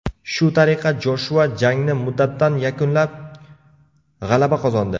Shu tariqa Joshua jangni muddatidan yakunlab, g‘alaba qozondi.